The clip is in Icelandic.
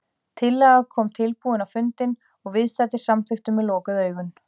Tillaga kom tilbúin á fundinn og viðstaddir samþykktu með lokuð augun.